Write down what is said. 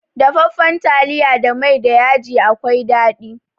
Dafaffan taliya da mai da yaji akwai daɗi.